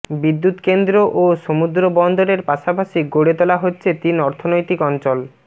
বিদ্যুৎকেন্দ্র ও সমুদ্রবন্দরের পাশাপাশি গড়ে তোলা হচ্ছে তিন অর্থনৈতিক অঞ্চল